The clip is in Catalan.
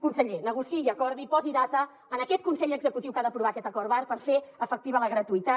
conseller negociï i acordi posi data a aquest consell executiu que ha d’aprovar aquest acord marc per fer efectiva la gratuïtat